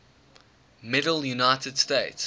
medal united states